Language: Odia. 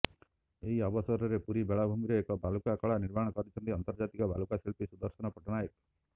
ଏହି ଅବସରରେ ପୁରୀ ବେଳାଭୂମିରେ ଏକ ବାଲୁକା କଳା ନିର୍ମାଣ କରିଛନ୍ତି ଅନ୍ତର୍ଜାତୀୟ ବାଲୁକା ଶିଳ୍ପୀ ସୁଦର୍ଶନ ପଟ୍ଟନାୟକ